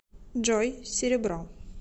джой серебро